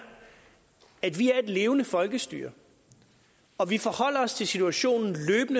et levende folkestyre og vi forholder os løbende til situationen